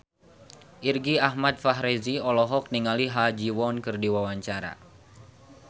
Irgi Ahmad Fahrezi olohok ningali Ha Ji Won keur diwawancara